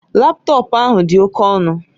Laptọọpụ ahụ dị oke ọnụ